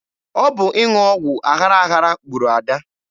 Ọ bụ ịṅụ ọgwụ aghara aghara gburu Ada.